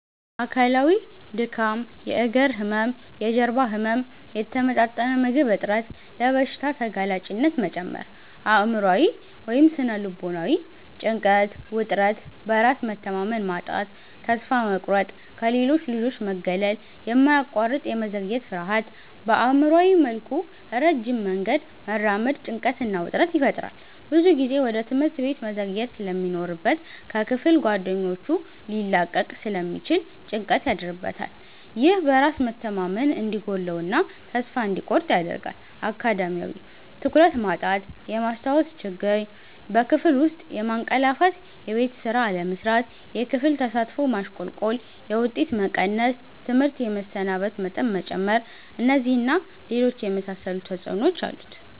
አካላዊ:-ድካም፣ የእግር ህመም፣ የጀርባ ህመም፣ የተመጣጠነ ምግብ እጥረት፣ ለበሽታ ተጋላጭነት መጨመር። አእምሯዊ / ስነ-ልቦናዊ:-ጭንቀት፣ ውጥረት፣ በራስ መተማመን ማጣት፣ ተስፋ መቁረጥ፣ ከሌሎች ልጆች መገለል፣ የማያቋርጥ የመዘግየት ፍርሃት። በአእምሯዊ መልኩ ረጅም መንገድ መራመድ ጭንቀትና ውጥረት ይፈጥራል። ብዙ ጊዜ ወደ ትምህርት ቤት መዘግየት ስለሚኖርበት ከክፍል ጓደኞቹ ሊላቀቅ ስለሚችል ጭንቀት ያድርበታል። ይህ በራስ መተማመን እንዲጎድለው እና ተስፋ እንዲቆርጥ ያደርጋል። አካዳሚያዊ:-ትኩረት ማጣት፣ የማስታወስ ችግር፣ በክፍል ውስጥ ማንቀላፋትየቤት ስራ አለመስራት፣ የክፍል ተሳትፎ ማሽቆልቆል፣ የውጤት መቀነስ፣ ትምህርት የመሰናበት መጠን መጨመር። እነዚህን እና ሌሎች የመሳሰሉ ተጽዕኖዎች አሉት።